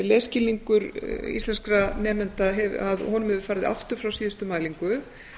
lesskilningur íslenskra nemenda að honum hefur farið aftur frá síðustu mælingu